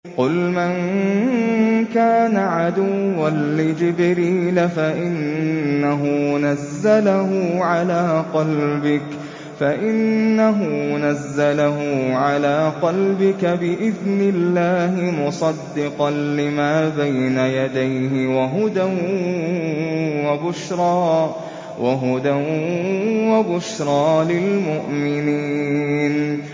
قُلْ مَن كَانَ عَدُوًّا لِّجِبْرِيلَ فَإِنَّهُ نَزَّلَهُ عَلَىٰ قَلْبِكَ بِإِذْنِ اللَّهِ مُصَدِّقًا لِّمَا بَيْنَ يَدَيْهِ وَهُدًى وَبُشْرَىٰ لِلْمُؤْمِنِينَ